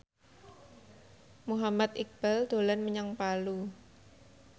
Muhammad Iqbal dolan menyang Palu